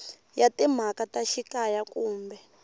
ya timhaka ta xikaya kumbe